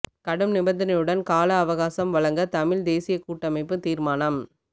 கடும் நிபந்தனையுடன் கால அவகாசம் வழங்க தமிழ் தேசியக் கூட்டமைப்பு தீர்மானம்